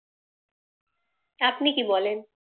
আপনি কি বলেন?